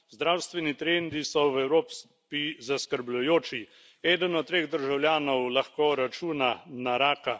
Zdravstveni trendi so v Evropi zaskrbljujoči eden od treh državljanov lahko računa na raka.